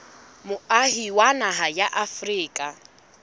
moahi wa naha ya afrika